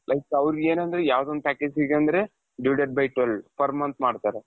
like ಅವರಿಗೆ ಏನಂದ್ರೆ ಯಾವುದೊಂದು package ಇದೆ ಅಂದ್ರೆ divided by twelve per month ಮಾಡ್ತಾರೆ.